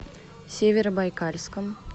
северобайкальском